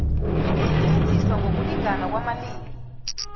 ukusetjenziswa ngokulingana kwamalimi